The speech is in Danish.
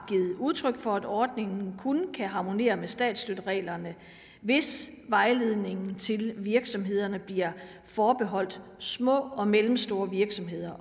udtryk for at ordningen kun kan harmonere med statsstøttereglerne hvis vejledningen til virksomhederne bliver forbeholdt små og mellemstore virksomheder